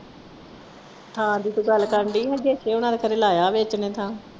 ਥਾਂ ਦੀ ਤੂੰ ਗੱਲ ਕਰਨ ਦੀ ਹਾਂ ਦੇਸ਼ੇ ਹੋਣਾ ਨੇ ਖਰੇ ਲਾਇਆ ਵੇਚਣੇ ਥਾਂ।